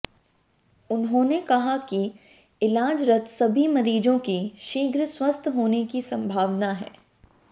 उन्होंने क़हा की इलाजरत सभी मरीजों के शीघ्र स्वस्थ होने की संभावना है